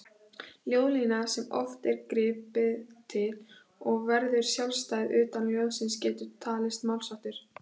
Ljóðlína, sem oft er gripið til, og verður sjálfstæð utan ljóðsins getur talist málsháttur.